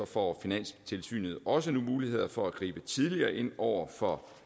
får finanstilsynet også nu muligheder for at gribe tidligere ind over for